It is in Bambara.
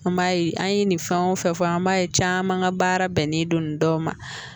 An b'a ye an ye nin fɛn o fɛn fɔ an b'a ye caman ka baara bɛnnen don nin dɔw ma